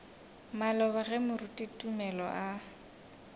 maloba ge moruti tumelo a